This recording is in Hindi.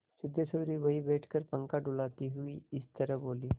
सिद्धेश्वरी वहीं बैठकर पंखा डुलाती हुई इस तरह बोली